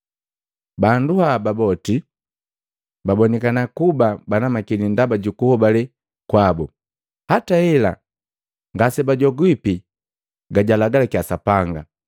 Bandu haba boti babonikana kuba banamakili ndaba ju kuhobale kwabu. Hata hela ngase bajopiki ga jaalagalaki Sapanga,